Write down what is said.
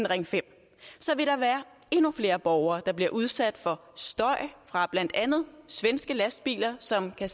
ring femte så vil der være endnu flere borgere der bliver udsat for støj fra blandt andet svenske lastbiler som kan